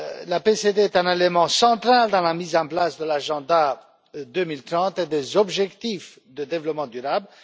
La CPD est un élément central dans la mise en place de l'Agenda 2030 et des objectifs de développement durable.